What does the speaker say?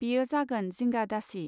बेयो जागोन जिंगा दासि.